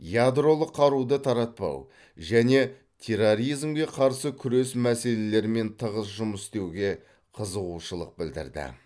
ядролық қаруды таратпау және терроризмге қарсы күрес мәселелерімен тығыз жұмыс істеуге қызығушылық білдірді